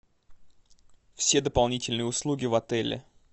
все дополнительные услуги в отеле